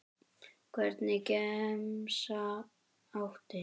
Hvernig gemsa áttu?